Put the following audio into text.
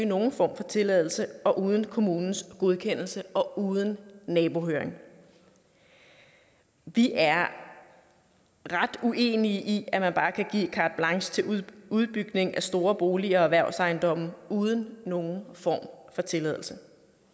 nogen form for tilladelse og uden kommunens godkendelse og uden nabohøring vi er ret uenige i at man bare kan give carte blanche til udbygning af store boliger og erhvervsejendomme uden nogen form for tilladelse